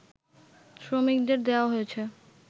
শ্রমিকদের দেয়া হয়েছে